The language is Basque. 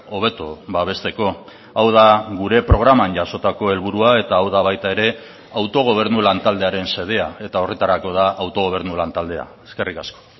hobeto babesteko hau da gure programan jasotako helburua eta hau da baita ere autogobernu lan taldearen xedea eta horretarako da autogobernu lan taldea eskerrik asko